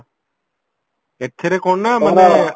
ଏଥେରେ କଣ ନାଁ ମାନେ